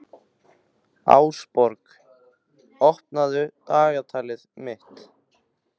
Ásborg, opnaðu dagatalið mitt.